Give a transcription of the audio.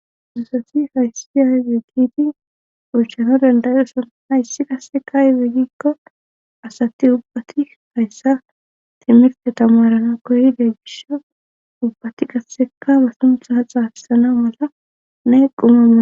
Asati hayssi hayze giti oychano dandayoson hayssi qasseka izegikko asati ubbati hayssa timiffe tamarana koyide gish ubbati qasseka ba sunthaa xaapisaana mala neqqumamana